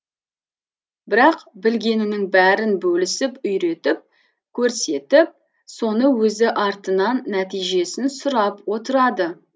бірақ білгенінің бәрін бөлісіп үйретіп көрсетіп соны өзі артынан нәтижесін сұрап отырады